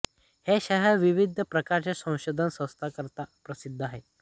हे शहर विविध प्रकारच्या संशोधन संस्थांकरता प्रसिद्ध आहे